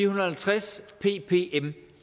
og halvtreds ppm